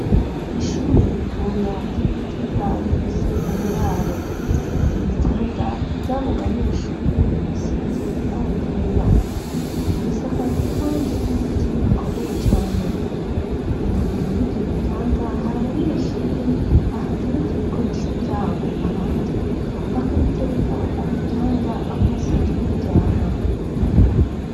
Ishure ritoya ry'i Gitega rifise uburaro, ibitanda vy'abo banyeshure bisize ibara ryera bisakajwe kandi n'ibiti bikomeye cane. Imbere y'ivyo bitanda hari abanyeshure bahatereka ibikoresho vyabo abandi bakabitereka ku bitanda aho basanzwe baryama.